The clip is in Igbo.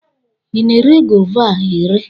ị na-ere Gova a ere?